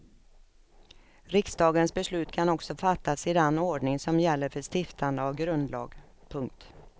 Riksdagens beslut kan också fattas i den ordning som gäller för stiftande av grundlag. punkt